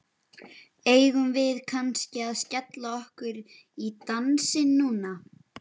Eigum við kannski að skella okkur í dansinn núna?